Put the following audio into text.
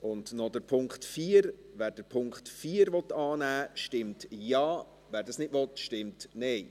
Und noch der Punkt 4: Wer den Punkt 4 annehmen will, stimmt Ja, wer dies nicht will, stimmt Nein.